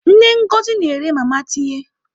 Nne Ngozi na-ere mama tinye.